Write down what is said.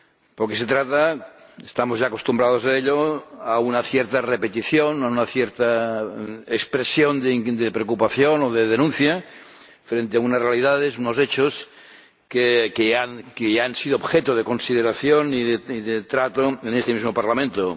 Porque se trata —estamos ya acostumbrados a ello a una cierta repetición, a una cierta expresión de preocupación o de denuncia frente a unas realidades— de unos hechos que ya han sido objeto de consideración y de trato en este mismo Parlamento.